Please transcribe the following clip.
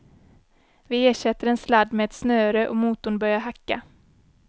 Vi ersätter en sladd med ett snöre och motorn börjar hacka.